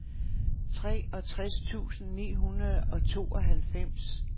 treogtres tusind ni hundrede og tooghalvfems